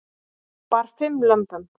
Bar fimm lömbum